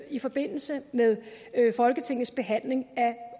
i forbindelse med folketingets behandling